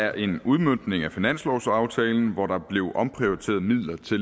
er en udmøntning af finanslovsaftalen hvor der blev omprioriteret midler til